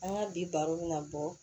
An ka bi baro bɛna bɔ